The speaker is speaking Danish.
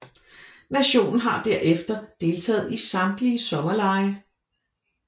Nationen har derefter deltaget i samtlige sommerlege